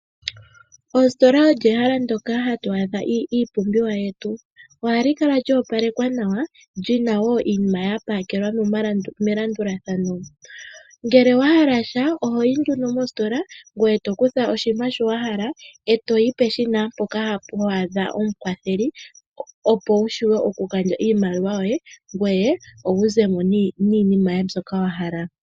Oositola olyo ehala ndoka hatu adha iipumbwe yetu. Ohali kala lyoopalekwa nawa lyina wo iinima yapakelwa melandulathano, ngele owahala sha ohoyi nduno mositola ngoye tukutha oshinima showahala e toyi peshina mpoka ho adha omukwatheli opo wushuwe okugandja iimaliwa yoye ngoye wuzemo niinima mbyoka wahala.